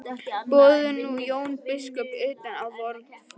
Boðum nú Jón biskup utan á vorn fund.